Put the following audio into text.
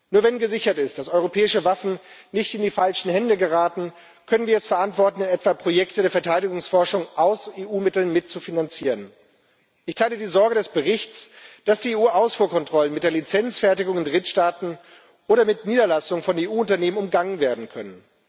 Nur wenn gesichert ist, dass europäische Waffen nicht in die falschen Hände geraten, können wir es verantworten, etwa Projekte der Verteidigungsforschung aus EU Mitteln mitzufinanzieren. Ich teile die Sorge des Berichts, dass die EU Ausfuhrkontrollen mit der Lizenzfertigung in Drittstaaten oder mit Niederlassungen von EU Unternehmen umgangen werden können.